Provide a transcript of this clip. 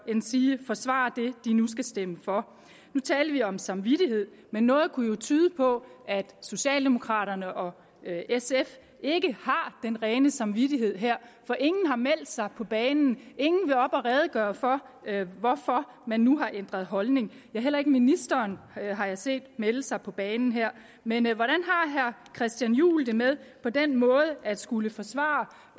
endsige forsvare det de nu skal stemme for nu talte vi om samvittighed men noget kunne jo tyde på at socialdemokraterne og sf ikke har den rene samvittighed her for ingen har meldt sig på banen ingen vil op at redegøre for hvorfor man nu har ændret holdning ja heller ikke ministeren har jeg set melde sig på banen men hvordan har herre christian juhl det med på den måde at skulle forsvare